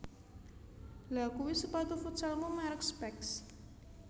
Lha kui sepatu futsalmu merk Specs